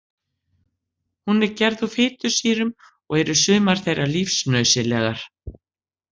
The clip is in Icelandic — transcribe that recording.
Hún er gerð úr fitusýrum og eru sumar þeirra lífsnauðsynlegar.